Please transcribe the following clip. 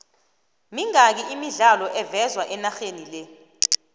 mingaki imidlalo evezwe enaxhenile